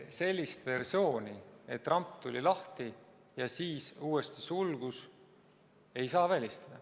Sellist versiooni, et ramp tuli lahti ja siis uuesti sulgus, ei saa välistada.